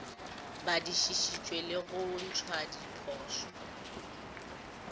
badišišitšwe le go ntšhwa diphošo